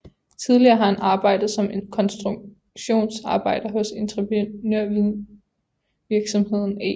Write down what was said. Tidligere har han arbejdet som konstruktionsarbejder hos entreprenørvirksomheden E